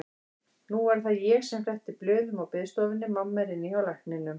Nú er það ég sem fletti blöðum á biðstofunni, mamma er inni hjá lækninum.